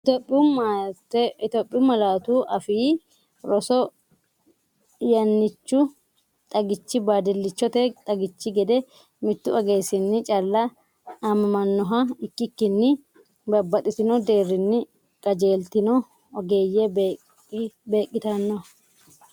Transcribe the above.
Itophiyu Malaatu Afii Roso Yannichu xagichi baadillichote xagichi gede mittu ogeessinni calla aamamannoha ikkikkinni babbaxxino deerrinni qajeeltino ogeeyye beeq- qitanno.